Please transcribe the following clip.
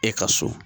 E ka so